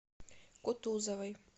кутузовой